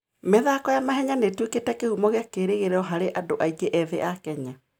mĩthako ya mahenya nĩ ĩtuĩkĩte kĩhumo kĩa kĩĩrĩgĩrĩro harĩ andũ aingĩ ethĩ a Kenya.